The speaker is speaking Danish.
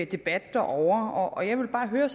debat derovre og jeg vil bare høre